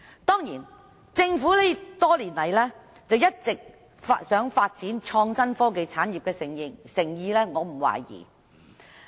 當然，對於政府多年來一直希望發展創新科技產業的誠意，我並沒有懷疑。